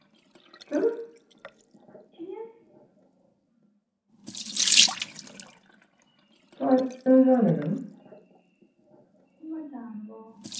জানবো